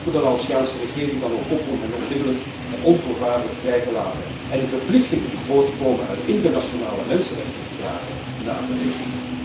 We roepen de Laotiaanse regering dan ook op om hen onmiddellijk en onvoorwaardelijk vrij te laten en de verplichtingen die voortkomen uit internationale mensenrechtenverdragen, na te leven.